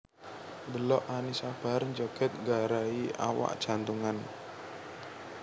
Ndelok Annisa Bahar njoget nggarai awak jantungan